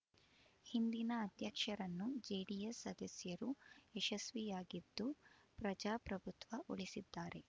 ಹಿಂದಿನ ಅಧ್ಯಕ್ಷರನ್ನು ಜೆಡಿಎಸ್ ಸದಸ್ಯರು ಯಶಸ್ವಿಯಾಗಿದ್ದು ಪ್ರಜಾಪ್ರಭುತ್ವ ಉಳಿಸಿದ್ದಾರೆ